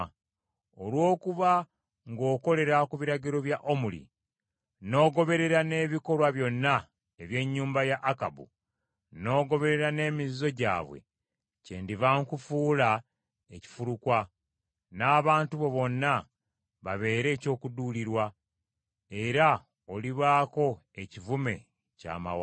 Olw’okuba ng’okolera ku biragiro bya Omuli n’ogoberera n’ebikolwa byonna eby’ennyumba ya Akabu n’ogoberera n’emizizo gyabwe, kyendiva nkufuula ekifulukwa, n’abantu bo bonna babeere eky’okuduulirwa era olibaako ekivume ky’amawanga.”